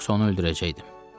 Yoxsa onu öldürəcəkdim.